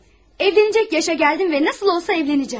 Evlənəcək yaşa gəldim və necə olsa evlənəcəyəm.